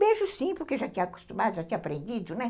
Beijo sim, porque já tinha acostumado, já tinha aprendido, né?